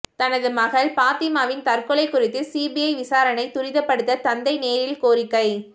தனது மகள் பாத்திமாவின் தற்கொலை குறித்து சிபிஐ விசாரணையை துரிதப்படுத்த தந்தை நேரில் கோரிக்கை